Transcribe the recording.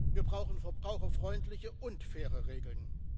Wir brauchen verbraucherfreundliche und faire Regeln.